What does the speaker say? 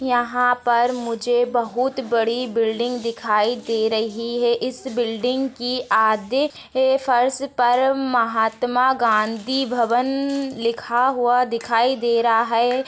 यहाँ पर मुझे बहुत बड़ी बिल्डिंग दिखाई दे रही है इस बिल्डिंग की आधे से फर्श पर महात्मा गांधी भवन लिखा हुआ दिखाई दे रहा है।